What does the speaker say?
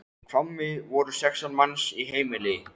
Í Hvammi voru sextán manns í heimili.